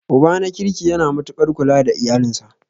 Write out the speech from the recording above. Uba na kirki yana matuaƙar kula da iyalinsa.